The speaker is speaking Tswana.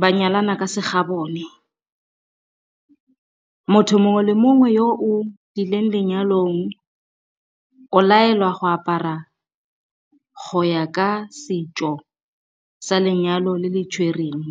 ba nyalana ka se gabone. Motho mongwe le mongwe yo o i leng lenyalong o laelwa go apara go ya ka setso sa lenyalo le le tshwereng.